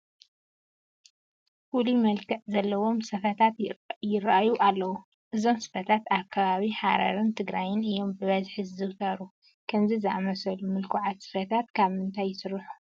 ፍሉይ መልክዕ ዘለዎም ስፈታት ይርአዩ ኣለዉ፡፡ እዞም ስፈታት ኣብ ከባቢ ሃረርን ትግራይን እዮም ብብዝሒ ዝዝውተሩ፡፡ ከምዚ ዝኣምሰሉ ምልኩዓት ስፈታት ካብ ምንታይ ይስርሑ?